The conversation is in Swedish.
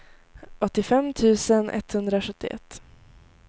åttiofem tusen etthundrasjuttioett